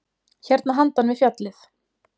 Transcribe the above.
Hérna handan við fjallið.